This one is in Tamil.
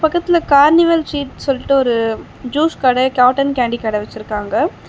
பக்கத்துல கார்னிவல் ஷீட்ஸ்னு சொல்ட்டு ஒரு ஜூஸ் கட காட்டன் கேண்டி கட வச்சிருக்காங்க.